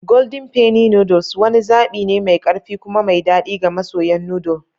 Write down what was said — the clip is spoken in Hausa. Golden Penny noodles wani zaɓi ne mai ƙarfi kuma mai daɗi ga masoyan noodle.